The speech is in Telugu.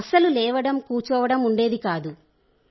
అస్సలు లేవడం కూచోవడం ఉండేది కాదు